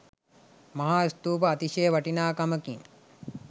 මහා ස්තූපය අතිශය වටිනාකමකින්